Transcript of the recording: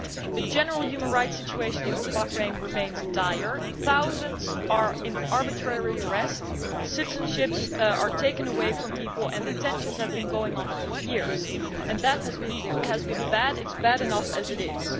The general human rights situation in Bahrain remains dire. Thousands are in arbitrary arrest, citizenships are taken away from people and the tensions have been going on for years, and that has been bad it is bad enough as it is.